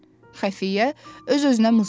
Xəfiyyə öz-özünə mızıldandı.